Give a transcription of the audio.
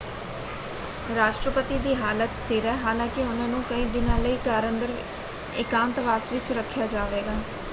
ਰਾਸ਼ਟਰਪਤੀ ਦੀ ਹਾਲਤ ਸਥਿਰ ਹੈ ਹਾਲਾਂਕਿ ਉਹਨਾਂ ਨੂੰ ਕਈ ਦਿਨਾਂ ਲਈ ਘਰ ਅੰਦਰ ਇਕਾਂਤਵਾਸ ਵਿੱਚ ਰੱਖਿਆ ਜਾਵੇਗਾ।